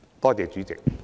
多謝主席。